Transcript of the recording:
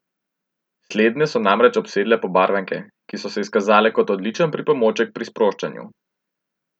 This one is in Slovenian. Slednje so namreč obsedle pobarvanke, ki so se izkazale kot odličen pripomoček pri sproščanju.